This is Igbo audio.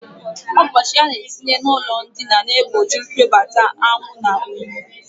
Ọgbachi a na-etinye n'ụlọndina na-egbochi mpiobata anwụ na unyi